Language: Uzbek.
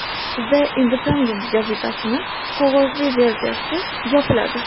The Independent gazetasining qog‘ozli versiyasi yopiladi.